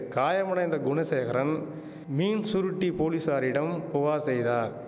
காயமடைந்த குணசேகரன் மீன்சுருட்டி போலீசாரிடம் புகார் செய்தார்